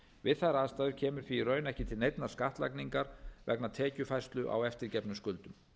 við þær aðstæður kemur því í raun ekki til neinnar skattlagningar vegna tekjufærslu á eftirgefnum skuldum